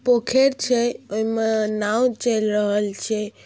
पुखेर छे एमा नाव चल रहल छे।